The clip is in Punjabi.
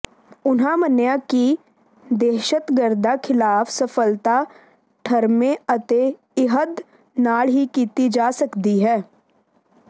ਉਨ੍ਹਾਂ ਮੰਿਨਆ ਿਕ ਦਿਹਸ਼ਤਗਰਦਾਂ ਿਖਲਾਫ ਸਫਲਤਾ ਠਰੰਮੇ ਅਤੇ ਅਿਹਦ ਨਾਲ਼ ਹੀ ਕੀਤੀ ਜਾ ਸਕਦੀ ਹੈ